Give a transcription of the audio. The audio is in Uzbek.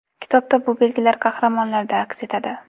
Kitobda bu belgilar qahramonlarda aks etadi.